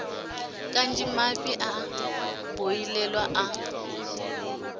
kanzhi mafhi a boḓelo a